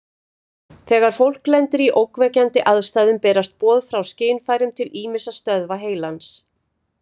Þegar fólk lendir í ógnvekjandi aðstæðum berast boð frá skynfærum til ýmissa stöðva heilans.